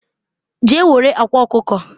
je ewere akwa okuko